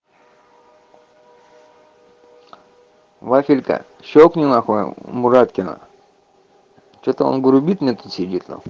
вафелька щёлкни нахуй мураткина что-то он грубит мне сидит на